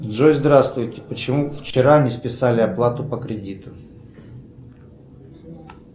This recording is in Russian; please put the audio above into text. джой здравствуйте почему вчера не списали оплату по кредиту